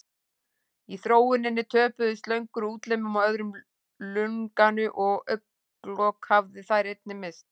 Í þróuninni töpuðu slöngur útlimum og öðru lunganu og augnalok hafa þær einnig misst.